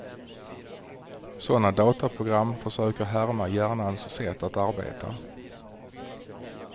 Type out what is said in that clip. Sådana datorprogram försöker härma hjärnans sätt att arbeta.